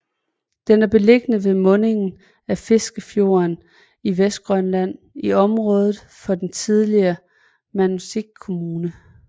Den er beliggende ved mundingen af Fiskefjorden i Vestgrønland i området for den tidligere Maniitsoq Kommune